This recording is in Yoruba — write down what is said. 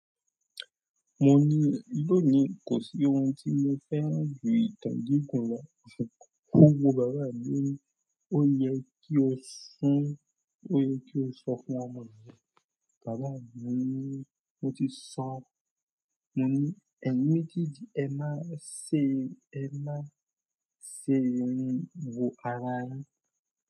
Mo ni, lónìí kò sí ohun tí mo fẹ́ rí, tàbí kò mọ, kúrò bàbá mi lónìí, ó yẹ kí ó sùn, ó yẹ kí ó sọ fún ọmọ rẹ̀. Bàbá mi ni, mo ti sọn. Mo ni, ẹni méjèèjì ẹ́ máa ṣe, ẹ́ máa ṣe ohun wo ara yin.